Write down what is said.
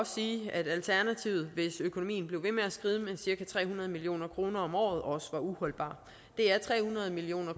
sige at alternativet hvis økonomien blev ved med at skride med cirka tre hundrede million kroner om året også var uholdbart det er tre hundrede million